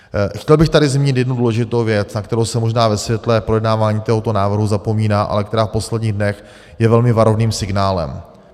Chtěl bych tady zmínit jednu důležitou věc, na kterou se možná ve světle projednávání tohoto návrhu zapomíná, ale která v posledních dnech je velmi varovným signálem.